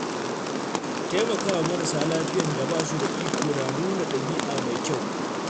Taimakawa marasa lafiyan da ba su da iko na nuna ɗabi’a mai kyau.